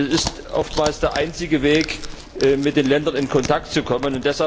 Es ist oftmals der einzige Weg, mit den Ländern in Kontakt zu kommen.